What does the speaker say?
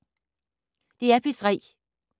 DR P3